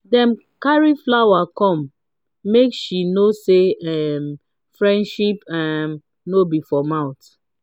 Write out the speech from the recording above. dem carry flower come make she know say um friendship um no be for mouth.